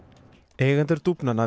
eigendur